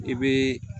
I bɛ